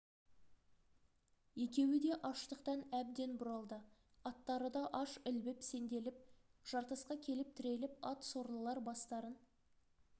екеуі де аштықтан әбден бұралды аттары да аш ілбіп сенделіп жартасқа келіп тіреліп ат сорлылар бастарын